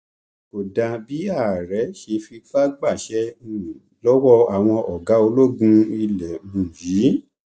kò dáa bí ààrẹ ṣe fipá gbaṣẹ um lọwọ àwọn ọgá ológun ilé um yìí